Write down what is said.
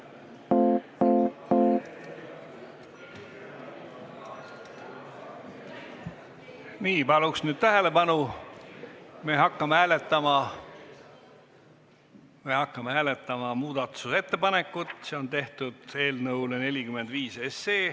Nii, palun nüüd tähelepanu, me hakkame hääletama muudatusettepanekut eelnõu 45 kohta.